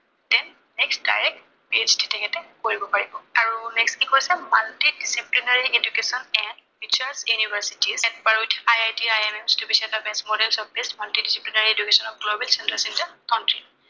next direct PHd তেখেতে কৰিব পাৰিব। আৰু next কি কৈছে, multidisciplinary education and features university per with IIT IIM the best model and best global country